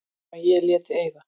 Nema ég léti eyða.